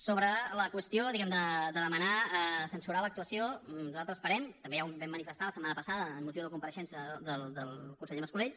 sobre la qüestió de demanar censurar l’actuació nosaltres esperem també ja ho vam manifestar la setmana passada amb motiu de la compareixença del conseller mas colell